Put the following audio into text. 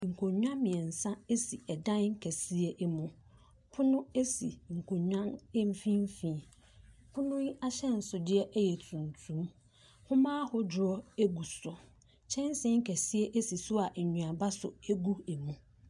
Nkonnwa miensa esi edan kɛseɛ bi mu. Pono esi nkonnwa no nfifini . Pono ahyɛnsudeɛ yɛ tuntum. Nwomaa ahuduɔ geu so. Kyɛnsii kɛseɛ so si so a enduama so egu emu.